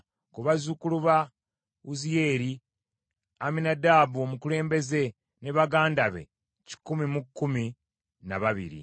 ku bazzukulu ba Wuziyeeri, Amminadaabu omukulembeze ne baganda be kikumi mu kkumi na babiri.